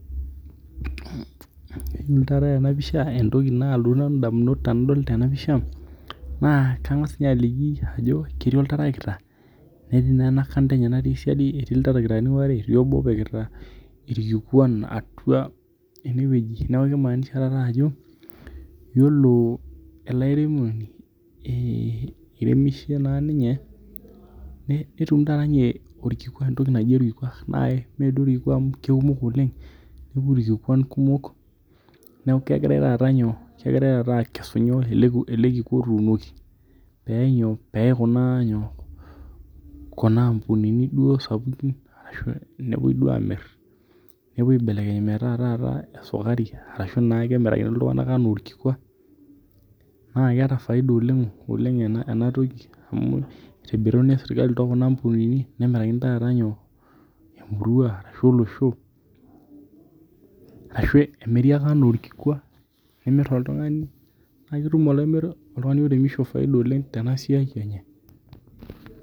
Yiolo taata tena pisha entoki naalotoki ndamumot tenadol tena pisha naa kang'as ninye aliki ajo ketii olterekita netii naa ena kanda enye natii siadi etii ilterekitane waare etii obo opikita irkikwan atwa ewueji. Neeku kimaanisha taata, yiolo ele airemoni, iremishe naa ninye netum taata ninye orkikwa. Entoki naji orkikwa, naa mee duo orkikwa amu kekumok oleng. Neeku irkikwan kumok, neeku kegirae taata nyoo, kegirae taata aakesu ele kikwa otuunoki peyae nyoo, peyae kuna ampunini duo sapuki ashu nepwoi duo aamirr. Nepwoi aibelekeny duo taata metaa esukari arashu naake enayiolo iltung'anak enaa orkikwa. Naa keeta faida oleng oleng ena toki amu itoburuni esukari too kuna ampunini nemirakini taata nyoo, emurwa ashu olosho arashu emiri ake enaa orkikwa. Imirr oltung'ani naa ketum oltung'ani oiremisho faida oleng tena siai enye